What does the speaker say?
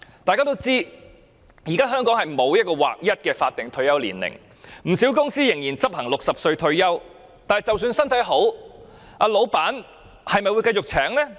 大家都知道，現時香港沒有劃一的法定退休年齡，不少公司仍然執行60歲退休，但即使長者身體好，老闆會繼續聘請嗎？